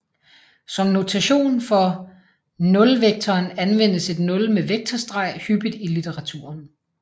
Som notation for nulvektoren anvendes et nul med vektorstreg hyppigt i litteraturen